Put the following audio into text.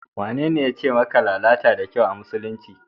Wanene yace maka lalata da kyau a musulunci?